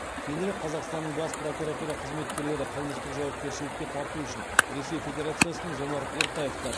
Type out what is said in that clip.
кейінірек қазақстанның бас прокуратура қызметкерлері қылмыстық жауапкершілікке тарту үшін ресей федерациясынан жомарт ертаевты